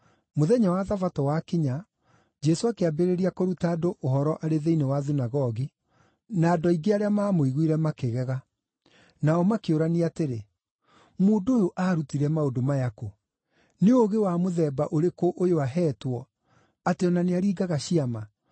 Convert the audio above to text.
Mũthenya wa Thabatũ wakinya, Jesũ akĩambĩrĩria kũruta andũ ũhoro arĩ thĩinĩ wa thunagogi, na andũ aingĩ arĩa maamũiguire makĩgega. Nao makĩũrania atĩrĩ, “Mũndũ ũyũ aarutire maũndũ maya kũ? Nĩ ũũgĩ wa mũthemba ũrĩkũ ũyũ aheetwo, atĩ o na nĩaringaga ciama!